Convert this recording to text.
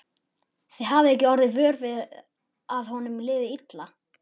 Þið hafið ekki orðið vör við að honum liði illa?